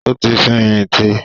Ó ti fẹ̀yìntì.